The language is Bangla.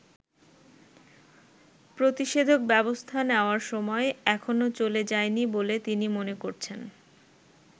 প্রতিষেধক ব্যবস্থা নেয়ার সময় এখনো চলে যায়নি বলে তিনি মনে করছেন।